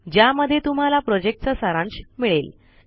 ज्यामध्ये तुम्हाला प्रोजेक्ट चा सारांश मिळेल